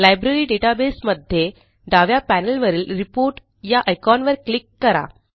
library database मध्ये डाव्या पॅनेलवरील रिपोर्ट या आयकॉनवर क्लिक करा